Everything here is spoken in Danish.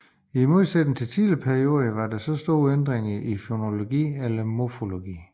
I modsætning til tidligere perioder var der få store ændringer i fonologi eller morfologi